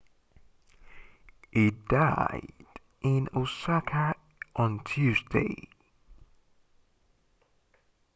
he died in osaka on tuesday